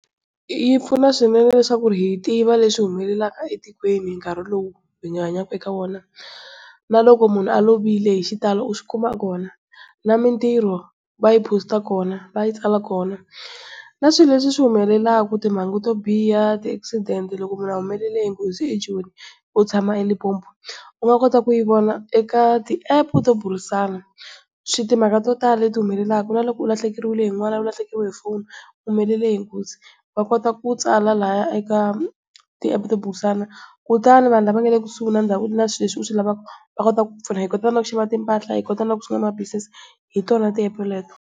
Yipfuna swinene leswaku hi tiva leswi swi humelelaka etikweni nkarhi lowu hi hanyaka eka wona. Naloko munhu a lovile hi xitalo u swikuma kona. Na mitirho va yi Post kona va yi tsala kona. Na swilo leswi swi humelelaka timhangu to biha, ti-accident loko munhu a humelele hi nghozi ejoni wo tshama eLimpopo u nga kota ku yi vona eka ti-app to burisana. timhaka to tala leti ti humelelaka na loko u lahlekeriwile hi n'wana, u lahlekeriwile hi foni, u humelele hi nghozi wa kota ku tsala lahaya eka ti app to burisana kutani vanhu lava va nga le kusuhi na Swilo leswi u swi lavaku va kota ku ku pfuna. Hi kota na ku xava timphahla hi kota na ku sungula na ma-business hi tona ti app teto.